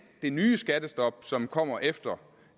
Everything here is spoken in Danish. det nye skattestop som kommer efter